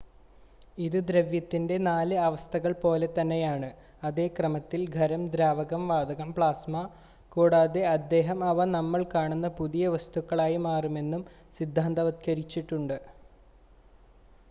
ഇത് ദ്രവ്യത്തിന്റെ നാല് അവസ്ഥകൾ പോലെതന്നെയാണ് അതേ ക്രമത്തിൽ; ഖരം ദ്രാവകം വാതകം പ്ലാസ്മ കൂടാതെ അദ്ദേഹം അവ നമ്മൾ കാണുന്ന പുതിയ വസ്തുക്കളായി മാറുമെന്നും സിദ്ധാന്തവൽക്കരിച്ചിട്ടുണ്ട്